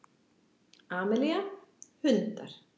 Amelía: Hundar.